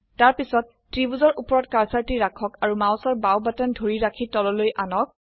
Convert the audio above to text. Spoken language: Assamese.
তাৰপিছত ত্ৰিভুজৰ উপৰত কাৰ্সাৰটি ৰাখক আৰু মাউসৰ বাও বাটন ধৰি ৰাখি তললৈ আনক